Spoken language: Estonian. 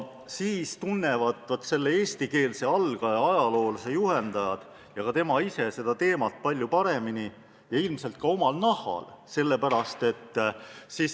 Sellisel juhul tunnevad selle eestikeelse algaja ajaloolase juhendajad ja ka tema ise kõnealust teemat palju paremini ja on seda ilmselt omal nahal kogenud.